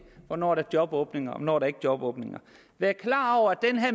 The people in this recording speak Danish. hvornår der er jobåbninger og hvornår der ikke er jobåbninger jeg er klar over at